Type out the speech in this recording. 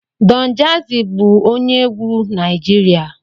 Don jazzy bụ onye egwu Naijiria